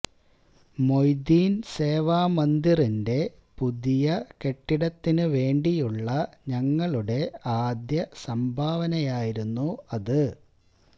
മൊയ്തീൻ സേവാമന്ദിറിന്റെ പുതിയ കെട്ടിടത്തിനു വേണ്ടിയുള്ള ഞങ്ങളുടെ ആദ്യ സംഭാവനയായിരുന്നു അത്